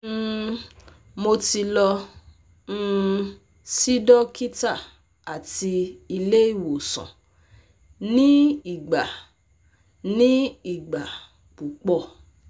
um Mo ti lọ um si dokita ati ile iwosan ni igba ni igba pupọ